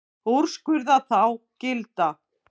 Úrskurða þá gilda.